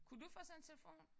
Kunne du få sådan en telefon?